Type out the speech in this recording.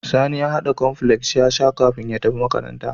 Sani ya hada cornflakes yasa kafin ya tafi makaranta